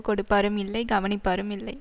கொடுப்பாரும் இல்லை கவனிப்பாரும் இல்லை